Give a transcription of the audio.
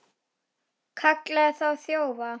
Kallaði þá þjófa.